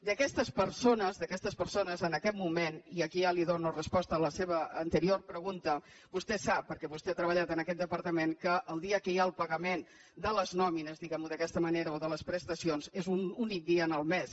d’aquestes persones d’aquestes persones en aquest moment i aquí ja li dono resposta a la seva anterior pregunta vostè sap perquè vostè ha treballat en aquest departament que el dia que hi ha el pagament de les nòmines diguemho d’aquesta manera o de les prestacions és un únic dia en el mes